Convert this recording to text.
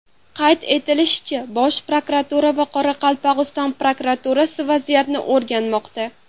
Qayd etilishicha, Bosh prokuratura va Qoraqalpog‘iston prokuraturasi vaziyatni o‘rganmoqda.